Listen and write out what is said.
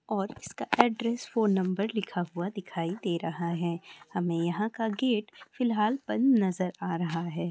और इसका address phone number लिखा हुआ दिखाई दे रहा है हमें यहां का गेट फ़िलहाल बंध नजर आ रहा है।